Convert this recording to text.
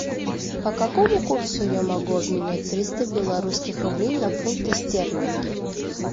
по какому курсу я могу обменять триста белорусских рублей на фунты стерлинги